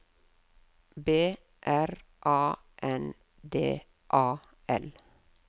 B R A N D A L